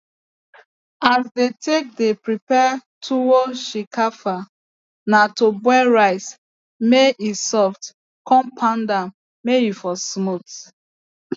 as dey take dey prepare tuwo shinkafa na to boil rice may e soft con pound am may e for smooth